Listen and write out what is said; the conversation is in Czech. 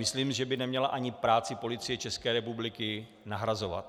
Myslím, že by neměla ani práci Policie České republiky nahrazovat.